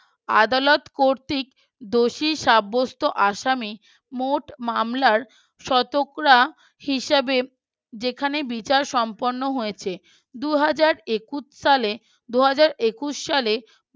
আদালত কর্তৃক দোষী সাব্যস্ত আসামী মোট মামলার শতকরা হিসেবে যেখানে বিচার সম্পন্ন হয়েছে দুই হাজার একুশ সালে দুই হাজার একুশ সালে